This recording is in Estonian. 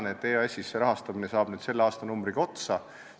Ma tean, et EAS-is saab see rahastamine selle aastanumbriga otsa.